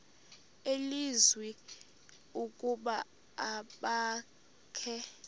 nelizwi ukuba abakhe